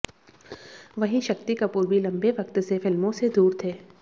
वहीं शक्ति कपूर भी लंबे वक्त से फिल्मों से दूर थे